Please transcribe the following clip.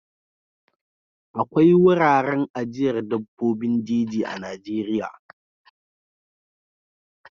Akwai wuraren ajiyar dabbobin jeji a Najeriya.